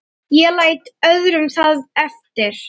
Ég læt öðrum það eftir.